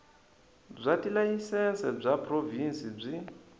bya tilayisense bya provhinsi byi